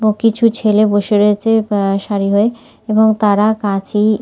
ও কিছু ছেলে বসে রয়েছে এহ সারি হয়ে এবং তারা কাছেই--